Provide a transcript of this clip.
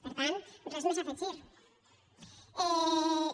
per tant res més a afegir hi